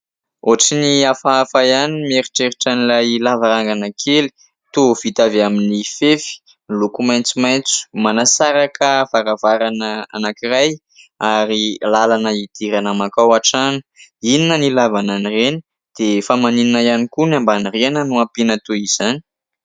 Ohatry ny hafahafa ihany no mieritreritra an'ilay lavarangana kely, toa vita avy amin'ny fefy, miloko maintsomaintso manasaraka varavarana anankiray, ary lalana hidirana mankao atrano. Inona ny ilavana an'ireny ? Dia fa maninona ihany koa no ambany rihana no ampiana toy izany ?